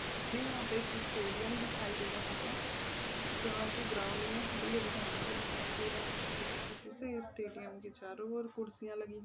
हमे यहाँ पे एक स्टेडिअम दिखाई दे रहा है जहा की ग्राउंड मे हरी-हरी घासे दिखाई दे रही है छोटी-छोटी सी इस स्टेडिअम की चारो और कुर्सियाँ लगी--